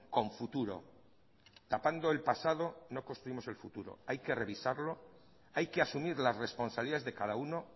con futuro tapando el pasado no construimos el futuro hay que revisarlo hay que asumir las responsabilidades de cada uno